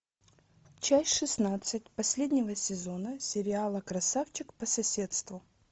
часть шестнадцать последнего сезона сериала красавчик по соседству